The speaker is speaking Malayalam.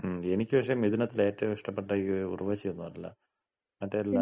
മ്മ്. എനിക്ക് പക്ഷേ മിഥുനത്തില് ഏറ്റവും ഇഷ്ടപ്പെട്ടത് ഈ ഉർവശി ഒന്നല്ല. മറ്റേ ഇല്ല